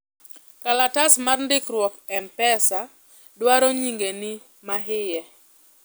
kalatas mar ndikruok mpesa dwaro nyingeni mahie